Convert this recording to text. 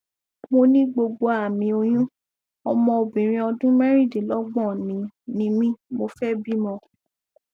mo ní gbogbo àmì oyún ọmọ obìnrin ọdún mẹrìndínlọgbọn ni ni mí mo fẹ bímọ